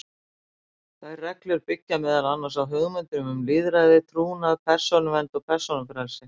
Þær reglur byggja meðal annars á hugmyndum um lýðræði, trúnað, persónuvernd og persónufrelsi.